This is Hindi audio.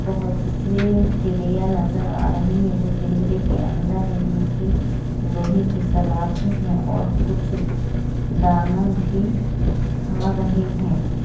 बहुत सी चिड़िया नजर आ रही है जो पिंजरे के अंदर हैजिनकी लोहे की सलाखे हैऔर कुछ दाना भी खा रहे है।